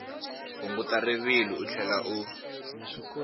hunguta rivilo u tlhela u